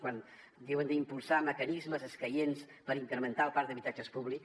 quan diuen d’ impulsar mecanismes escaients per incrementar el parc d’habitatges públic